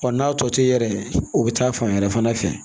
n'a tɔ to i yɛrɛ o bɛ taa fan wɛrɛ fana fɛ